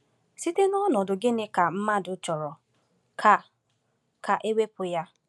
Site n’ọnọdụ gịnị ka mmadụ chọrọ ka ka e wepụ ya?